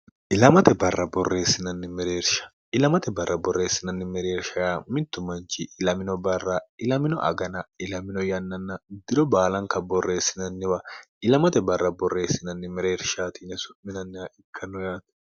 ilamate barra borreessinanni mereersha mittu manchi ilamino barra ilamino agana ilamino yannanna diro baalanka borreessinanniwa ilamate barra borreessinanni mereershaatiny su'minannih ikkanno yaate